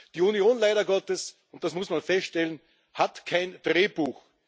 Die Union leider Gottes und das muss man feststellen hat kein Drehbuch.